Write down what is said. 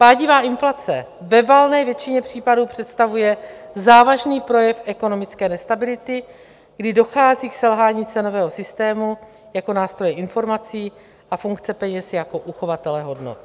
Pádivá inflace ve valné většině případů představuje závažný projev ekonomické nestability, kdy dochází k selhání cenového systému jako nástroje informací a funkce peněz jako uchovatele hodnot.